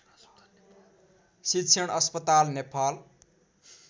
शिक्षण अस्पताल नेपाल